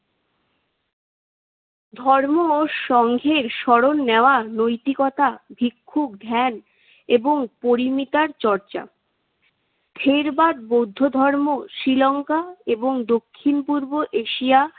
ধর্ম ও সঙ্ঘের স্মরণ নেওয়া নৈতিকতা, ভিক্ষু, ধ্যান এবং পরিমিতার চর্চা। থেরবাদ বৌদ্ধ ধর্ম শ্রীলংকা এবং দক্ষিণ পূর্ব শিয়া,